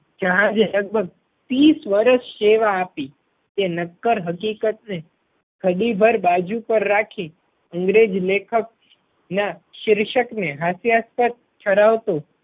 જહાજે લગભગ ત્રીસ વર્ષ સેવા આપી તે નક્કર હકીકત ને ઘડી ભર બાજુ પર રાખી અંગ્રેજ લેખક ના શીર્ષક ને હાસ્યાસ્પદ ઠરાવતું